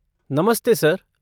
नमस्ते सर!